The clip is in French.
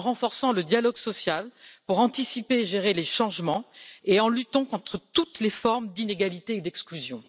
En renforçant le dialogue social pour anticiper et gérer les changements et en luttant contre toutes les formes d'inégalités et d'exclusion.